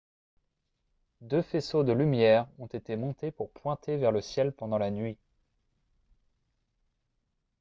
deux faisceaux de lumière ont été montés pour pointer vers le ciel pendant la nuit